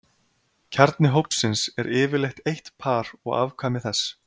kjarni hópsins er yfirleitt eitt par og afkvæmi þess